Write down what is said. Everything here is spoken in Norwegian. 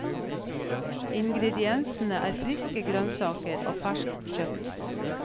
Ingrediensene er friske grønnsaker og ferskt kjøtt.